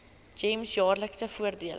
gems jaarlikse voordele